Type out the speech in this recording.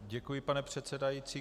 Děkuji, pane předsedající.